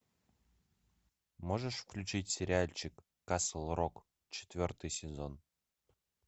можешь включить сериальчик касл рок четвертый сезон